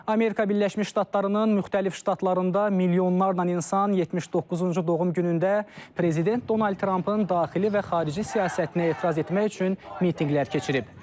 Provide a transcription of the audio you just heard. Amerika Birləşmiş Ştatlarının müxtəlif ştatlarında milyonlarla insan 79-cu doğum günündə prezident Donald Trampın daxili və xarici siyasətinə etiraz etmək üçün mitinqlər keçirib.